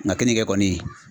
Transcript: Nka keninge kɔni